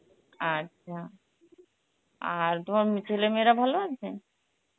আচ্ছা, আর তোমার মি~ ছেলে মেয়েরা ভালো আছে?